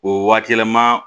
O waati yɛlɛma